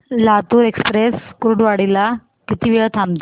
Latur express Kurduwadi ला किती वेळ थांबते